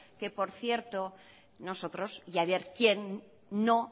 que por cierto nosotros y haber quién no